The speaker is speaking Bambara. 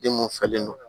Den mun falen don